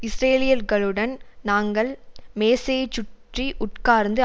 இஸ்ரேலியர்களுடன் நாங்கள் மேசையைச் சுற்றி உட்காரந்து